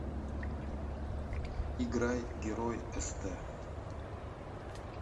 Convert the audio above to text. играй герой эстэ